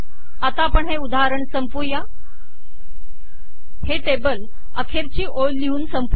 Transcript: आता आपण हे उदाहरण संपवूया हे टेबल अखेरची ओळ लिहून संपवू